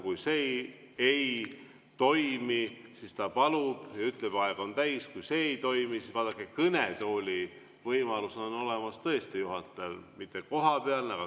Kui see ei toimi, siis ta palub ja ütleb, et aeg on täis, kui see ei toimi, siis vaadake, kõnetoolis saab tõesti juhataja mikrofoni välja lülitada.